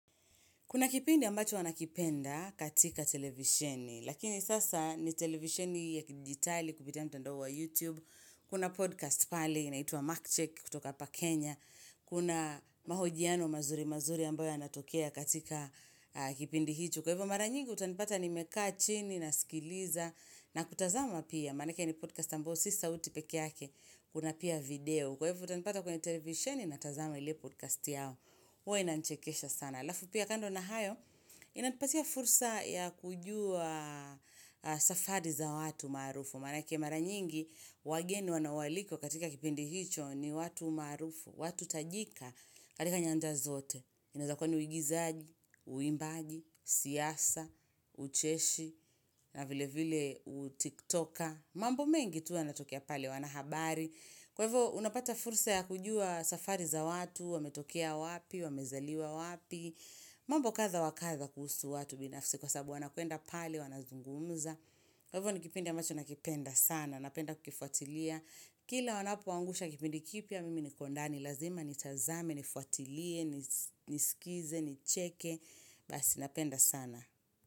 Kuna kipindi ambacho huwa nakipenda katika televisheni, lakini sasa ni televisheni ya kidijitali kupitia mtandao wa YouTube. Kuna podcast pale, inaitwa Markcheck kutoka hapa Kenya. Kuna mahojiano mazuri mazuri ambayo anatokea katika kipindi hicho. Kwa hivyo mara nyingi utanipata nimekaa chini naskiliza na kutazama pia. Manake ni podcast ambayo si sauti peke yake, kuna pia video. Kwa hivyo utanipata kwenye televisheni natazama ile podcast yao. Huwa inanichekesha sana. Halafu pia kando na hayo, inanipatia fursa ya kujua safari za watu maarufu. Manake mara nyingi, wageni wanao alikwa katika kipindi hicho ni watu maarufu, watu tajika katika nyanja zote. Inaweza kuwa ni uigizaji, uimbaji, siasa, ucheshi, na vile vile tiktoker. Mambo mengi tu yanatokea pale wana habari. Kwa hivyo, unapata fursa ya kujua safari za watu, wamezaliwa wapi, mambo kadha wa kadha kuhusu watu binafsi kwa sababu wanakwenda pale wanazungumza. Kwa hivyo ni kipindi ambacho nakipenda sana. Napenda kukifuatilia. Kila wanapo angusha kipindi kipya mimi niko ndani. Lazima nitazame, nifuatilie, nisikize, nicheke. Basi napenda sana.